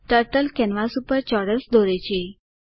turtle canvas ઉપર ચોરસ દોરે છે